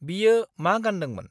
बियो मा गान्दोंमोन?